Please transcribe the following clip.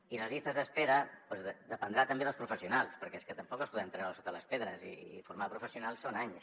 i les llistes d’espera doncs dependrà també dels professionals perquè és que tampoc els podem treure de sota les pedres i formar professionals són anys